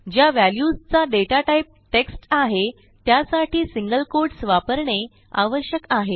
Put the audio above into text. ज्या व्हॅल्यूजचा data type text आहे त्यासाठी सिंगल कोट्स वापरणे आवश्यक आहे